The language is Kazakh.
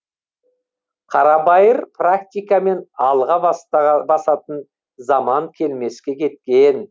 қарабайыр практикамен алға басатын заман келмеске кеткен